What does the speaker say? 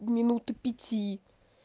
минут пяти